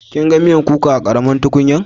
Kin gan miyan kukan a karamin tukunyan?